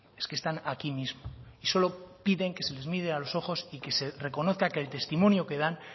es que están aquí mismo y solo piden que se les mire a los ojos y que se reconozca que el testimonio que dan